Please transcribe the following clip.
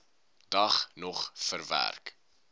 dag nog verwerk